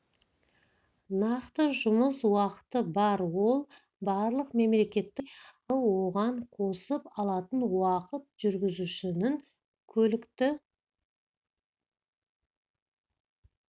нақты жұмыс уақыты бар ол барлық мемлекеттік органдарда бірдей аралығы оған қосып алатын уақыт жүргізушінің көлікті